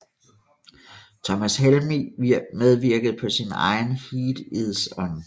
Thomas Helmig medvirkede på sin egen Heat Is On